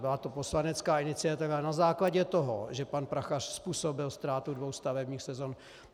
Byla to poslanecká iniciativa na základě toho, že pan Prachař způsobil ztrátu dvou stavebních sezon.